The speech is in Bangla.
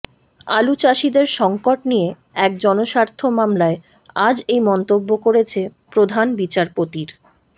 আলুচাষিদের সঙ্কট নিয়ে এক জনস্বার্থ মামলায় আজ এই মন্তব্য করেছে প্রধান বিচারপতির